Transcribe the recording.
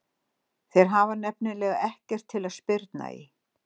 Þeir hafa nefnilega ekkert til að spyrna í.